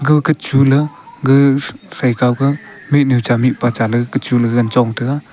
agkah chunala gag phaikau kah mihnu cha mihpa cha ley gagkah chula gagan chongtaga.